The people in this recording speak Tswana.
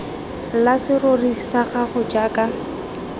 la serori sa gago jaaka